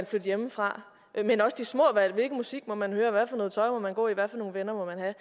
flytte hjemmefra eller de små valg hvilken musik må man høre hvad for noget tøj må man gå i hvad for nogle venner må man have